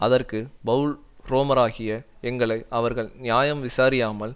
அதற்கு பவுல் ரோமராகிய எங்களை அவர்கள் நியாயம் விசாரியாமல்